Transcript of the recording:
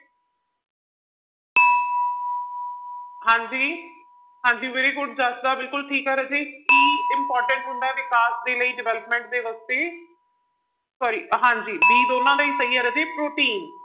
ਹਾਂਜੀ ਹਾਂਜੀ very good ਜਸ ਦਾ ਬਿਲਕੁਲ ਠੀਕ ਆ ਰਾਜੇ, ਕੀ important ਹੁੰਦਾ ਵਿਕਾਸ ਦੇ ਲਈ development ਦੇ ਵਾਸਤੇ sorry ਹਾਂਜੀ b ਦੋਨਾਂ ਦਾ ਹੀ ਸਹੀ ਹੈ ਰਾਜੇ ਪ੍ਰ਼ੋਟੀਨ।